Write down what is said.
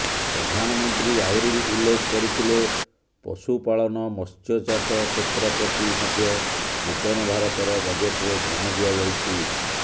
ପ୍ରଧାନମନ୍ତ୍ରୀ ଆହୁରି ଉଲ୍ଲେଖ କରିଥିଲେ ପଶୁପାଳନ ମତ୍ସ୍ୟଚାଷ କ୍ଷେତ୍ର ପ୍ରତି ମଧ୍ୟ ନୂତନ ଭାରତର ବଜେଟରେ ଧ୍ୟାନ ଦିଆଯାଇଛି